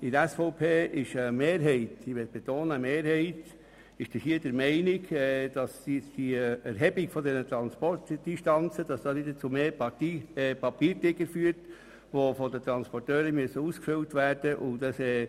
In der SVP ist eine Mehrheit der Meinung, dass die Erhebung der Transportdistanzen vermehrt zu einem Papiertiger führt, der von den Transporteuren ausgefüllt werden muss.